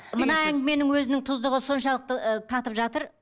мына әңгіменің өзінің тұздығы соншалықты ыыы татып жатыр